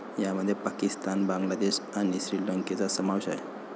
यामध्ये पाकिस्तान, बांगलादेश आणि श्रीलंकेचा समावेश आहे.